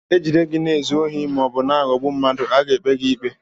E jide gị na-ezu ohi ma ọ bụ na-aghọgbu ndị mmadụ, a ga-ekpe gị ikpe.